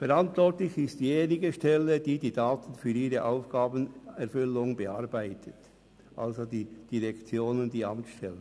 Verantwortlich ist diejenige Stelle, die die Daten für ihre Aufgabenerfüllung bearbeitet, also die Direktion mit ihren Amtsstellen.